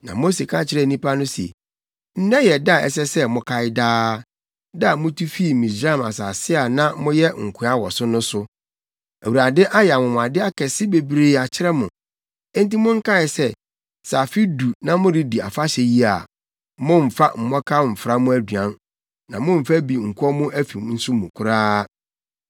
Na Mose ka kyerɛɛ nnipa no se, “Nnɛ yɛ da a ɛsɛ sɛ mokae daa—da a mutu fii Misraim asase a na moyɛ nkoa wɔ so no so. Awurade ayɛ anwonwade akɛse bebree akyerɛ mo. Enti monkae sɛ, sɛ afe du na moredi afahyɛ yi a, mommfa mmɔkaw mfra mo aduan; na mommfa bi nkɔ mo afi nso mu koraa.